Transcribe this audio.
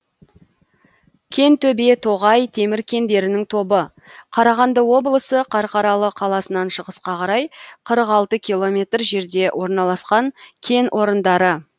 кентөбе тоғай темір кендерінің тобы қарағанды облысы қарқаралы қаласынан шығысқа қарай қырық алтты километр жерде орналасқан кен орындары